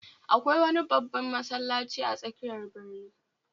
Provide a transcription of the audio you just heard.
Akwai wani babban masallaci a tsakiyar birni